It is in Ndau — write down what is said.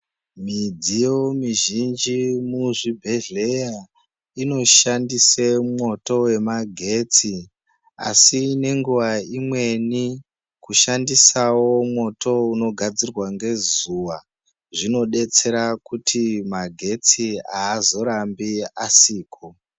Midziyo mizhinji muzvibhehleya inoshandise mwoto wemagetsi asi nenguwa imweni kushandisawo mwoto unogadzirwa ngezuwa zvinobetsera kuti magetsi aazorambi asiko.